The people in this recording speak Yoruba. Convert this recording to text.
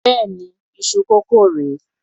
Béèni iṣu kókò rè é.